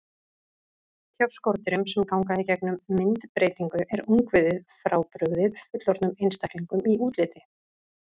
Hjá skordýrum sem ganga í gegnum myndbreytingu er ungviðið frábrugðið fullorðnum einstaklingum í útliti.